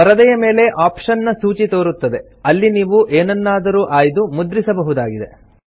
ಪರದೆಯ ಮೇಲೆ ಆಪ್ಷನ್ ನ ಸೂಚಿ ತೋರುತ್ತದೆ ಅಲ್ಲಿ ನೀವು ಎನನ್ನಾದರೂ ಆಯ್ದು ಮುದ್ರಿಸ ಬಹುದಾಗಿದೆ